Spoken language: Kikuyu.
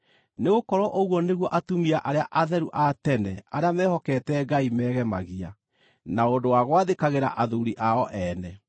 Nĩgũkorwo ũguo nĩguo atumia arĩa atheru a tene arĩa mehokete Ngai meegemagia, na ũndũ wa gwathĩkagĩra athuuri ao ene,